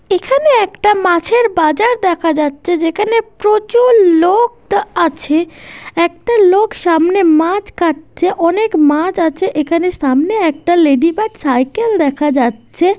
এখানে একটা মাছের বাজার দেখা যাচ্ছে যেখানে প্রচুর লোক তো আছে। একটা লোক সামনে মাছ কাটছে। অনেক মাছ আছে এখানে সামনে একটা লেডি বার্ড সাইকেল দেখা যাচ্ছে।